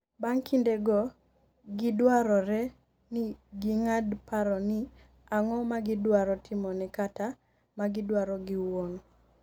bang' kinde go, gidwarore ni gi ng'ad paro ni ang'o magidwaro timone kata magidwaro giwuon